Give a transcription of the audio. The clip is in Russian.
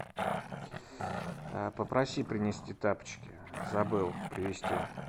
попроси принести тапочки забыл привезти